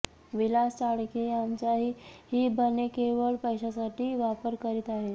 विलास चाळके यांचाही बने केवळ पैशासाठी वापर करीत आहेत